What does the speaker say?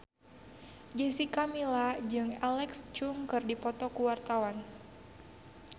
Jessica Milla jeung Alexa Chung keur dipoto ku wartawan